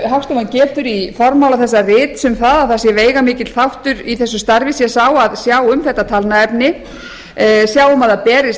hagstofan getur í formála þessa rits um það að veigamikill þáttur í þessu starfi sé sá að sjá um þetta talnaefni sjá um að það berist